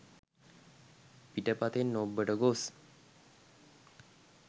පිටපතෙන් ඔබ්බට ගොස්